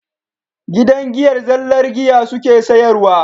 Gidan giyar zallan giya suke sayarwa